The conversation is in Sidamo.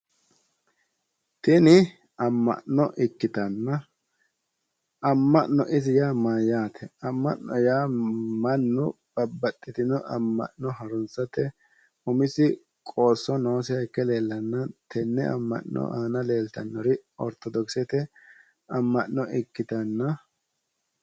Tini amma'no ikkitanna amma'no isi yaa mayyaate? Amma'na yaa mannu babbaxxitino amma'no harunsate umisi qoosso noosiha ikke leellanna tenne amma'no aana leeltannori ortodoksete amma'no ikkitanna